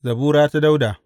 Zabura ta Dawuda.